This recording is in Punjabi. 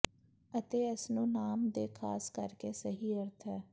ਅਤੇ ਇਸ ਨੂੰ ਨਾਮ ਦੇ ਖਾਸ ਕਰਕੇ ਸਹੀ ਅਰਥ ਹੈ